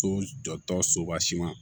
So jɔtɔ soba siman